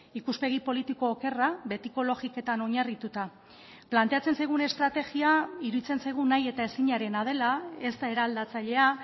ikuspegi politiko okerra betiko logiketan oinarrituta planteatzen zaigun estrategia iruditzen zaigu nahi eta ezinarena dela ez da eraldatzailea